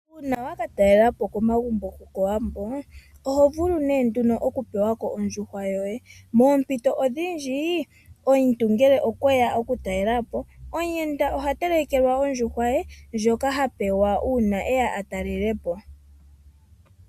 Uuna wa ka talelapo komagumbo gokowambo, ohovulu nee nduno okupewa ko ondjuhwa yoye. Moompito odhindji omuntu ngele okweya okutalelapo, omuyenda oha telekelwa ondjuhwa ye ndjoka ha pewa uuna eya a talelepo.